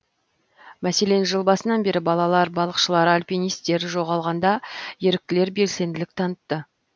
мәселен жыл басынан бері балалар балықшылар альпинистер жоғалғанда еріктілер белсенділік танытты